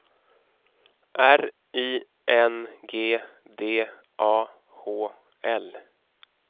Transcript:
R I N G D A H L